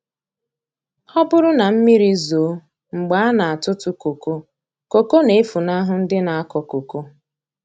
Ọ bụrụ na mmiri zoo mgbe a na-atụtụ koko, koko na-efunahụ ndị na-akọ koko.